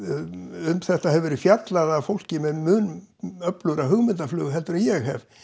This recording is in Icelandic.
um þetta hefur verið fjallað af fólki með mun öflugra hugmyndarflug heldur en ég hef